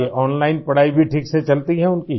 ये ओनलाइन पढ़ाई भी ठीक से चलती हैं उनकी